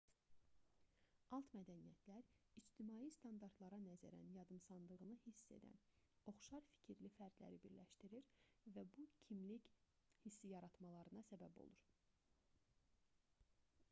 alt mədəniyyətlər ictimai standartlara nəzərən yadımsandığını hiss edən oxşar fikirli fərdləri birləşdirir və bir kimlik hissi yaratmalarına səbəb olur